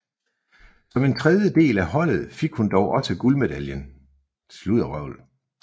Som en del af holdet fik hun dog også guldmedaljen